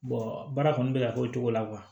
baara kɔni bɛ ka k'o cogo la